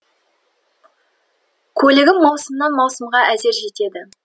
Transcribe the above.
көлігім маусымнан маусымға әзер жетеді